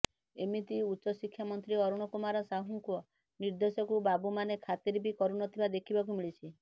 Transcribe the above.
ଏମିତିକି ଉଚ୍ଚଶିକ୍ଷା ମନ୍ତ୍ରୀ ଅରୁଣ କୁମାର ସାହୁଙ୍କ ନିର୍ଦେଶକୁ ବାବୁମାନେ ଖାତିର ବି କରୁ ନଥିବା ଦେଖିବାକୁ ମିଳିଛି